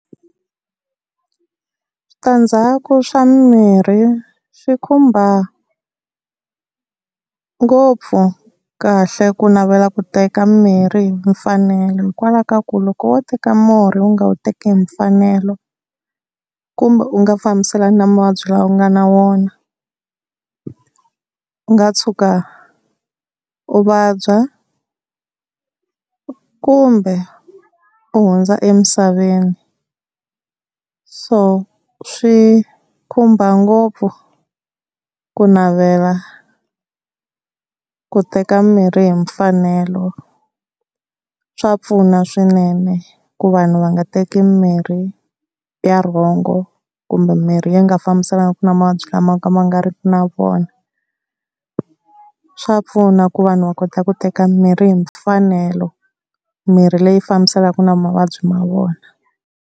Switandzhaku swa mimirhi swi khumba ngopfu kahle ku navela ku teka mirhi hi mfanelo, hikwalaho ka ku loko wo teka murhi u nga wu teki hi mfanelo kumbe u nga fambiselani na mavabyi lawa u nga na wona u nga tshuka u vabya kumbe u hundza emisaveni. So swi khumba ngopfu ku navela ku teka mimirhi hi mfanelo, swa pfuna swinene ku vanhu va nga teki mirhi ya wrong kumbe mirhi leyi nga fambisaniku na mavabyi lama ma nga ri ku na vona. Swa pfuna ku vanhu va kota ku teka mirhi hi mfanelo mirhi leyi fambisanaka na mavabyi ma vona.